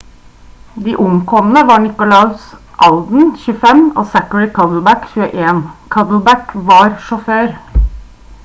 de omkomne var nicholas alden 25 og zachary cuddeback 21. cuddeback var sjåfør